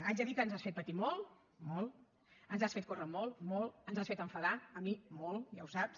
haig de dir que ens has fet patir molt molt ens has fet córrer molt molt ens has fet enfadar a mi molt ja ho saps